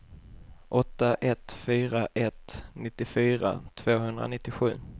åtta ett fyra ett nittiofyra tvåhundranittiosju